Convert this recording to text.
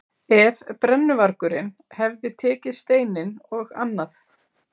Ef brennuvargurinn hefði tekið steininn og annað